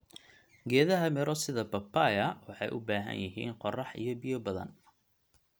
Geedaha miro sida papaya waxay u baahan yihiin qorrax iyo biyo badan.